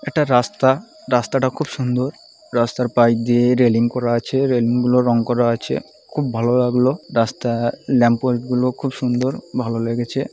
একটা রাস্তা। রাস্তাটা খুব সুন্দর। রাস্তার পাশ দিয়ে রেলিং করা আছে রেলিং -গুলো রং করা আছে। খুব ভালো লাগলো রাস্তা ল্যাম্প পোস্ট -গুলো খুব সুন্দর ভালো লেগেছে।